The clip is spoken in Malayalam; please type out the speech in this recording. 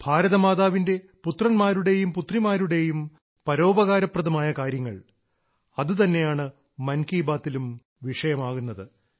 ഭാരത മാതാവിന്റെ പുത്രന്മാരുടെയും പുത്രിമാരുടെയും പരോപകാരപ്രദമായ കാര്യങ്ങൾ അതുതന്നെയാണ് മൻ കീ ബാത്തിലും വിഷയമാകുന്നത്